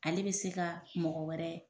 Ale bɛ se ka mɔgɔ wɛrɛ